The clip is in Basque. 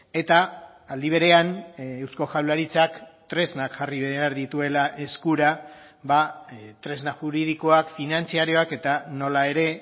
eta aldi berean eusko jaurlaritzak tresnak jarri behar dituela eskura tresna juridikoak finantzarioak eta nola ere